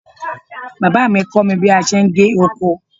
Bàbá mi kọ́ mi bí a ti ṣe ń gé oko.